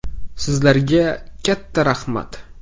Sizlarga katta rahmat!